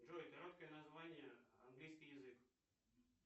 джой короткое название английский язык